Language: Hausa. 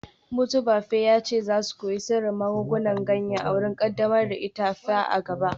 Motobafe ya ce za su koyi sirrin magungunan ganya a wurin kaddamar da itefa a gaba